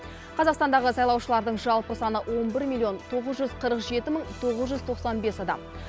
қазақстандағы сайлаушылардың жалпы саны он бір миллион тоғыз жүз қырық жеті мың тоғыз жүз тоқсан бес адам